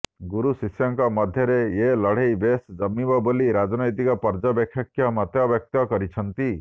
ଗୁରୁଶିଷ୍ୟ ଙ୍କ ମଧ୍ୟରେ ଏ ଲଢେଇ ବେଶ୍ ଜମିବ ବୋଲି ରାଜନୈତିକ ପର୍ଯ୍ୟବେକ୍ଷକ ମତବ୍ୟକ୍ତ କରିଛନ୍ତି